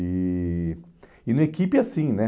E e na equipe, assim, né?